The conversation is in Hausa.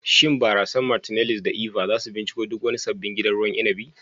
Shin barasar "Martineliss" da "Eva" za su binciko duk wani sabbin gidan ruwan inabi.